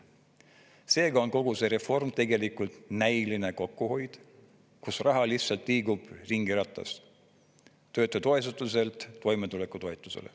Seega on kogu see reform tegelikult näiline kokkuhoid, kus raha lihtsalt liigub ringiratast, töötutoetuselt toimetulekutoetusele.